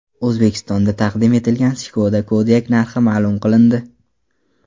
O‘zbekistonda taqdim etilgan Skoda Kodiaq narxi ma’lum qilindi.